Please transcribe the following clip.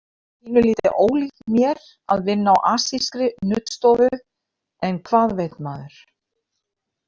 Pínulítið ólíkt mér að vinna á asískri nuddstofu, en hvað veit maður?